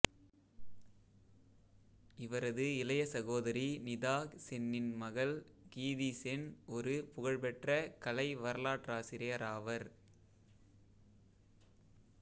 இவரது இளைய சகோதரி நிதா சென்னின் மகள் கீதி சென் ஒரு புகழ்பெற்ற கலை வரலாற்றாசிரியராவர்